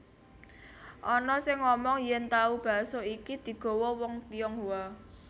Ana sing ngomong yèn tahu bakso iki digawa wong Tionghoa